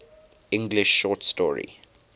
english short story